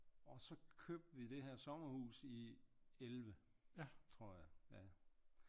Og så købte vi det her sommerhus i 11 tror jeg ja